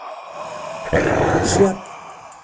Sjöfn